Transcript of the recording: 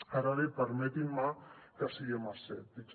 ara bé permetin me que siguem escèptics